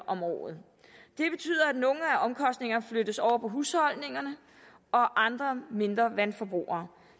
om året det betyder at nogle af omkostningerne flyttes over på husholdningerne og andre mindre vandforbrugere